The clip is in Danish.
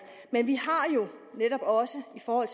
men vi har jo netop også i forhold